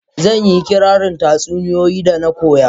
Zan yi kirarin tatsauniya da na koya.